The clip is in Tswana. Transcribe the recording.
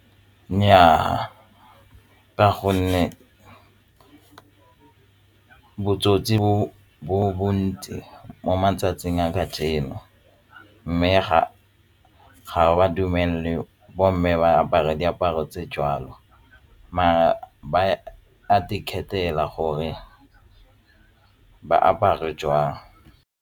Nnyaa, ka gonne botsotsi bo bontsi mo matsatsing a kajeno mme ga ba dumele bomme ba apara diaparo tse jwalo maar ba ikgethela gore ba apare jwang.